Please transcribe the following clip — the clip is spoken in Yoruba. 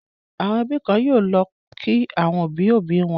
Àwọn ẹbí kọ̀ọ̀kan yóò lọ kí àwọn òbí-òbí wọn.